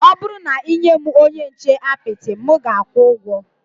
Ọ bụrụ na ị nye m onye nche apịtị, m ga-akwụ ụgwọ